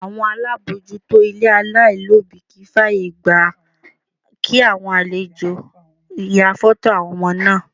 Àwọn alábòójútó ilé alailobi kì í fàyègba kí àwọn àlejò ya foto àwọn ọmọ náà.